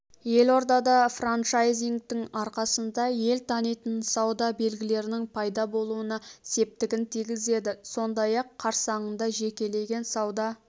елордада франчайзингтің арқасында ел танитын сауда белгілерінің пайда болуына септігін тигізеді сондай-ақ қарсаңында жекелеген сауда